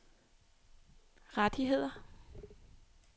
rettigheder